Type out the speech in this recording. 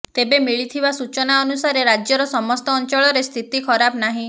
ତେବେ ମିଳିଥିବା ସୂଚନା ଅନୁସାରେ ରାଜ୍ୟର ସମସ୍ତ ଅଞ୍ଚଳରେ ସ୍ଥିତି ଖରାପ ନାହିଁ